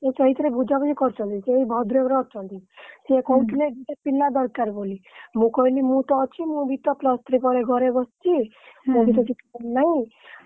ସିଏ ସେଇଥିରେ ବୁଝାବୁଝି କରୁଛନ୍ତି ସେଇ ଭଦ୍ରକରେ ଅଛନ୍ତି, ସିଏ କହୁଥିଲେ ପିଲାପିଲି ଦରକାର ବୋଲି, ମୁଁ କହିଲି ମୁଁ ତ ଅଛି plus three ପରେ ଘରେ ବସିଛି